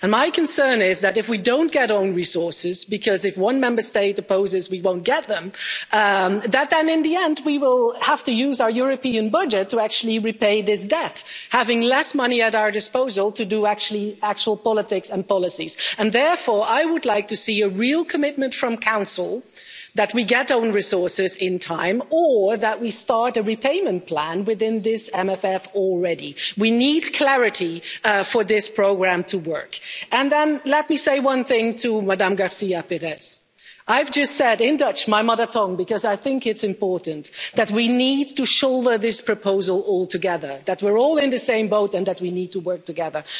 repaid. And my concern is that, if we don't get own resources because if one Member State opposes, we won't get them in the end we will have to use our European budget to actually repay this debt, having less money at our disposal to do actual politics and policies. Therefore, I would like to see a real commitment from the Council that we will get own resources in time or that we start a repayment plan within this MFF already. We need clarity for this programme to work. And then let me say one thing to Madame García Pérez. I've just said in Dutch, my mother tongue, because I think it's important, that we need to shoulder this proposal all together, that we're all in the same boat, and that we need to work